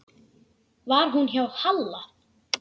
Var hún hjá Halla?